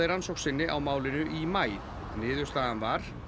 rannsókn sinni á málinu í maí niðurstaðan var